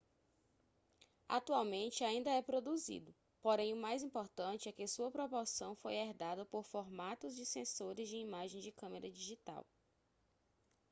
atualmente ainda é produzido porém o mais importante é que sua proporção foi herdada por formatos de sensores de imagem de câmera digital